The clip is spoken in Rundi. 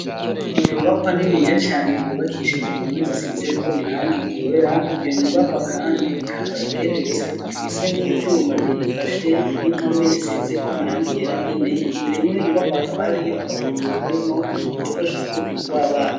Inyubakwa niniya cane yubakishije impome zisize ko irangi ryera, iyo nyubakwa kandi ikaba igeretse, ifise n'ivyuma biyifashe n'impome zisizeko amarangi yera nyene, imbere y'iyo nyubakwa hakaba hariyo agapukuru karimwo udukoresho two gukina tw'abana.